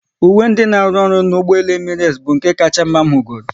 Uwe ndị n'aru ọrụ n'ụgbọelu Emirates bụ nke kacha mma m hụgoro